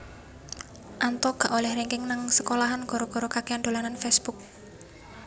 Anto gak oleh ranking nang sekolahan gara gara kakean dolanan Facebook